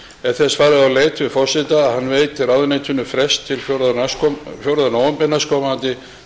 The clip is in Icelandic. er þess farið á leit við forseta að hann veiti ráðuneytinu frest til fjórða nóvember